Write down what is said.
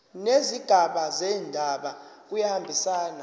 nezigaba zendaba kuyahambisana